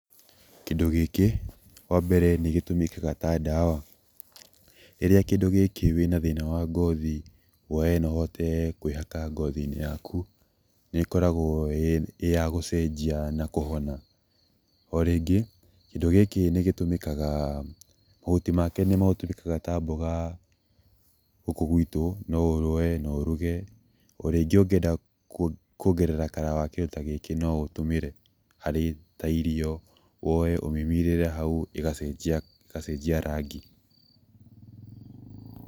Kĩndũ gĩkĩ wa mbere nĩ gĩtũmĩkaga ta dawa, rĩrĩa kĩndũ gĩkĩ wĩna thĩna wa ngothi woe na ũhote kwĩgaka ngothi-inĩ yaku nĩ koragwo ĩya gũcenjia na kũhona, o rĩngĩ kĩndũ gĩkĩ nĩ gĩtũmĩkaga, mahuti make nĩ matũmĩkaga ta mboga gũkũ gwitũ no woe na ũruge ona rĩngĩ ũngĩenda kwongerera color wakĩo no ũtũmĩre harĩ ta irio, woe ũmimirĩre hau ĩgacenjia rangi.